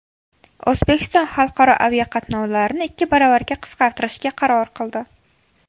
O‘zbekiston xalqaro aviaqatnovlarni ikki baravarga qisqartirishga qaror qildi.